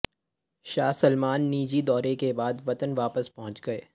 شاہ Salman نجی دورے کے بعد وطن واپس پہنچ گئے